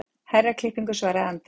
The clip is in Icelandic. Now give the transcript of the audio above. Herraklippingu, svaraði Andri.